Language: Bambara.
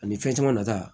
Ani fɛn caman nata